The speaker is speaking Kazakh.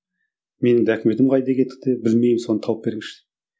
менің документім қайда кетті білмеймін соны тауып беріңізші